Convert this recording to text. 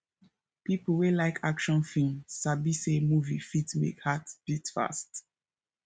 people wey like action film sabi say movie fit make heart beat fast